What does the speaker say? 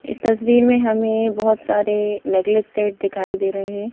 इस तस्वीर में हमें बहोत सारे नेगलेस सेट दिखाई दे रहे हैं.